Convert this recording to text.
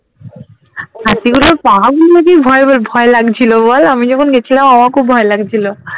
হাতিগুলোর ভয় ভয় ভয় লাগছিলো বল আমি যখন গেছিলাম আমার খুব ভয় লাগছিলো